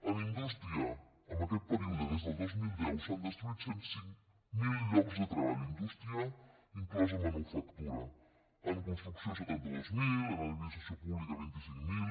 en indústria en aquest període des del dos mil deu s’han destruït cent i cinc mil llocs de treball indústria inclosa manufactura en construcció setanta dos mil en administració pública vint cinc mil